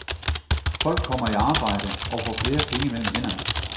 Folk kommer i arbejde og får flere penge mellem hænderne.